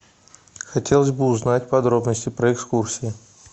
хотелось бы узнать подробности про экскурсии